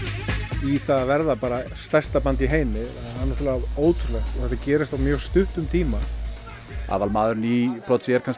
í það að verða bara stærsta band í heimi það er ótrúlegt og gerist á mjög stuttum tíma aðalmaðurinn í Prodigy er kannski